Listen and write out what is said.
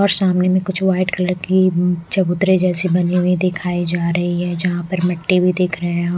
और सामने में कुछ व्हाइट कलर की चबूतरे जैसी बनी हुई दिखाई जा रही है जहां पर मिट्टी भी देख रहे हैं।